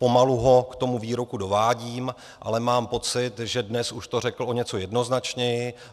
Pomalu ho k tomu výroku dovádím, ale mám pocit, že dnes už to řekl o něco jednoznačněji.